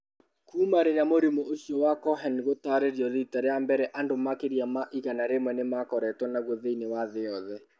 Kuuma rĩrĩa mũrimũ ũcio wa Cohen gũtaarĩrio riita rĩa mbere, andũ makĩria ma igana rĩmwe nĩ makoretwo naguo thĩinĩ wa thĩ yothe.